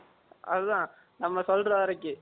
அது தான் நம்ம சொல்ற வரைக்கும்